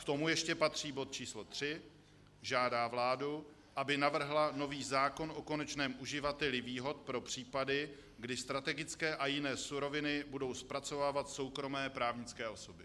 K tomu ještě patří bod číslo 3: "Žádá vládu, aby navrhla nový zákon o konečném uživateli výhod pro případy, kdy strategické a jiné suroviny budou zpracovávat soukromé právnické osoby."